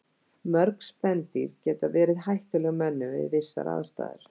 Mörg spendýr geta verið hættuleg mönnum við vissar aðstæður.